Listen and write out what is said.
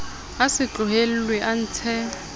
a se tlohellwe a ntshe